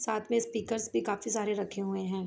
साथ में स्पीकर्स भी काफी रखे हुए हैं।